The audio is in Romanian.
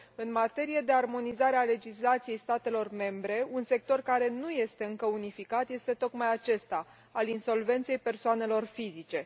În materie de armonizare a legislației statelor membre, un sector care nu este încă unificat este tocmai acesta, al insolvenței persoanelor fizice.